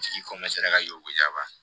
Tigi ka y'o jaba